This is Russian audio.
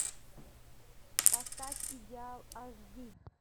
поставь идеал аш ди